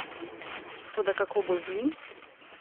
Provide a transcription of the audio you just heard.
Toda kako bo z njim?